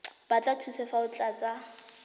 batla thuso fa o tlatsa